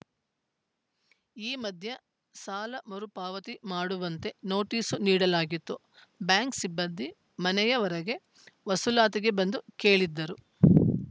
ಈ ಮಧ್ಯೆ ಸಾಲ ಮರು ಪಾವತಿ ಮಾಡುವಂತೆ ನೋಟಿಸು ನೀಡಲಾಗಿತ್ತು ಬ್ಯಾಂಕ್‌ ಸಿಬ್ಬಂದಿ ಮನೆಯ ವರೆಗೆ ವಸೂಲಾತಿಗೆ ಬಂದು ಕೇಳಿದ್ದರು